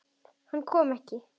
Hann kom ekki.